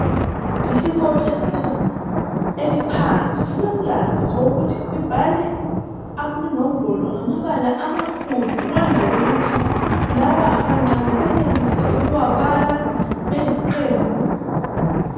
Isikolo esilebanga eliphansi silomlandu wokuthi sibhale inombolo ngamabala amakhulu ukwenzela ukuthi laba abancane benelise ukuwabala beliqembu.